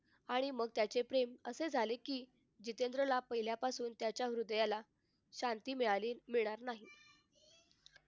आणि मग त्याचे प्रेम असे झाले कि जितेंद्रला पहिल्यापासून त्याच्या हृदयाला शांती मिळाली मिळणार नाही